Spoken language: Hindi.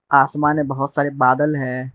आसमाने बहोत सारे बादल है।